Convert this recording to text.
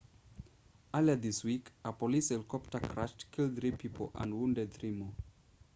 earlier this week a police helicopter crash killed three people and wounded three more